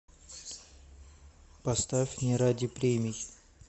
поставь не ради премий